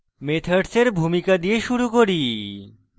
methods ভূমিকা দিয়ে শুরু করি